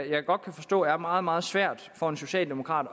jeg godt kan forstå er meget meget svært for en socialdemokrat